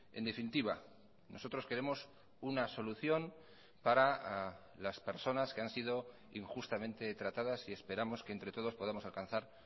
en definitiva nosotros queremos una solución para las personas que han sido injustamente tratadas y esperamos que entre todos podamos alcanzar